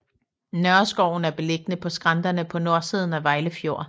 Nørreskoven er beliggende på skrænterne på nordsiden af Vejle Fjord